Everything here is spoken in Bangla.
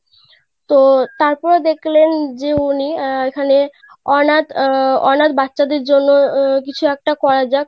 তো তারপরে দেখলেন যে উনি আহ এখানে অনাথ আহ অনাথ বাচ্চা দের জন্য আহ কিছু একটা করা যাক.